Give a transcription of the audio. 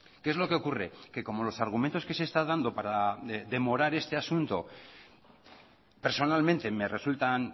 qué es lo que ocurre que como los argumentos que se está dando para demorar este asunto personalmente me resultan